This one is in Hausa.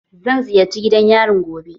Zan ziyarce gidan yarin gobe.